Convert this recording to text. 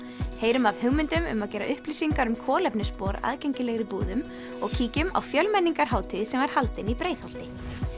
heyrum af hugmyndum um að gera upplýsingar um kolefnisspor aðgengilegri í búðum og kíkjum á sem var haldin í Breiðholti